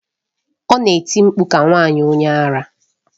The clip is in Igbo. Ọ na-eti mkpu ka nwanyị onye ara.